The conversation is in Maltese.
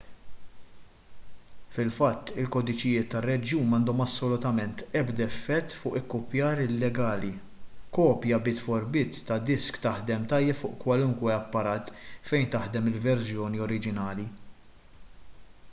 fil-fatt il-kodiċijiet tar-reġjun m'għandhom assolutament ebda effett fuq l-ikkupjar illegali kopja bit-for-bit ta' disk taħdem tajjeb fuq kwalunkwe apparat fejn taħdem il-verżjoni oriġinali